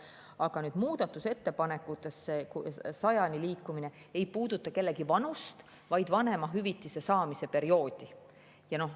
Aga muudatusettepanekud, 100, ei puuduta kellegi vanust, vaid vanemahüvitise saamise perioodi.